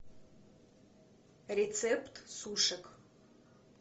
рецепт сушек